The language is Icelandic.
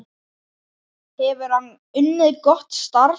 Hefur hann unnið gott starf?